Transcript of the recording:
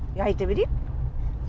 айта берейік